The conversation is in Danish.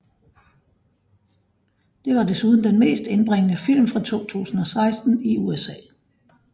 Det var desuden den mest indbringende film fra 2016 i USA